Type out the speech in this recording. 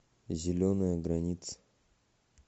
зеленая граница